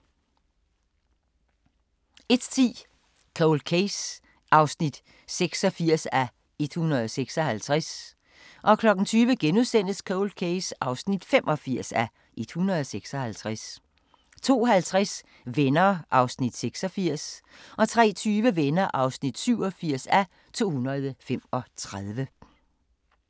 00:40: Grænsepatruljen 01:10: Cold Case (86:156) 02:00: Cold Case (85:156)* 02:50: Venner (86:235) 03:20: Venner (87:235)